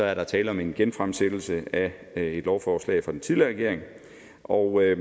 er der tale om en genfremsættelse af et lovforslag fra den tidligere regering og jeg